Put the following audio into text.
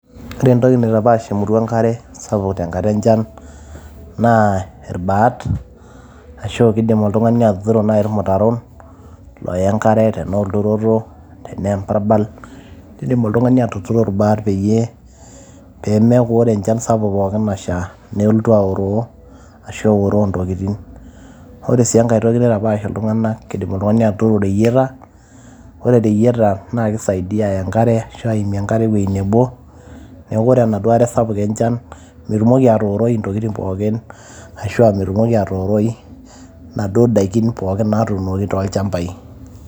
Ore entoki naitapaash emurua enkare tenkata enchan naa irbaat, ashu aa kiidim naai oltung'ani atuturo irbaat looya enkare tenaa olturoto tenaa embarbal, kiidim oltung'ani atuturo irbaat pee meeku ore enchan pookin sapuk nasha nelotu aoroo ashu eoroo in tokitin. Ore sii enkae toki naitapaash iltung'anak, idipa oltung'ani atuturo ireyieta naa kisaidia aaya enkare aimie enkare ewueji nebo, neeku ore enaduo are sapuk enchan metumoki aatooroi intokitin pookin ashu aa metumoki atooroi inaduo daikin naatuunoki tolchambai.